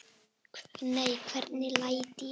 Nei, hvernig læt ég?